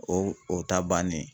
O o ta bannen.